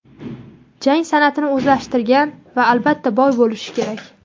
jang san’atini o‘zlashtirgan va albatta boy bo‘lishi kerak.